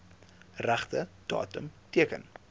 regte datum teken